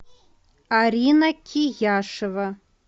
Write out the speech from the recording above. арина кияшева